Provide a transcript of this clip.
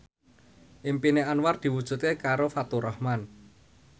impine Anwar diwujudke karo Faturrahman